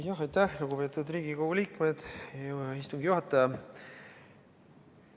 Aitäh, lugupeetud Riigikogu liikmed ja istungi juhataja!